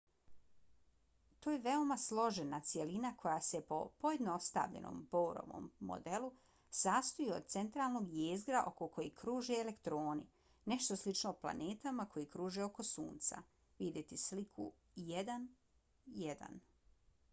to je veoma složena cjelina koja se po pojednostavljenom borovom modelu sastoji od centralnog jezgra oko kojeg kruže elektorni - nešto slično planetama koje kruže oko sunca - vidjeti sliku 1.1